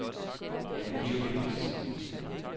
Jamen, det er jo befrielsen.